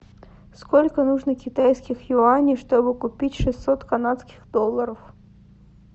сколько нужно китайских юаней чтобы купить шестьсот канадских долларов